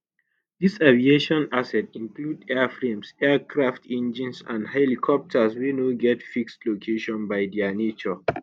dis aviation assets include airframes aircraft engines and helicopters wey no get fixed location by dia nature